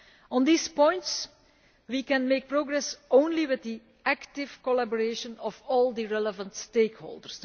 On these points we can make progress only with the active collaboration of all the relevant stakeholders.